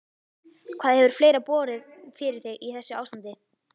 Hvað hefur fleira borið fyrir þig í þessu ástandi?